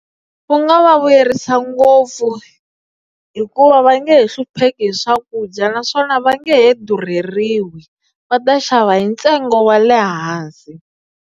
Ku nga va vuyerisa ngopfu hikuva va nge he hlupheki hi swakudya naswona va nge durheriwi va ta xava hi ntsengo wa le hansi.